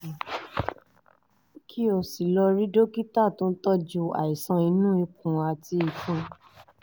kí o sì lọ rí dókítà tó ń tọ́jú àìsàn inú ikùn àti ìfun